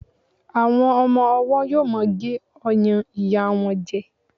àwọn ọmọ ọwọ yíò ma gé ọyàn ìyá won jẹ